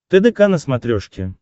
тдк на смотрешке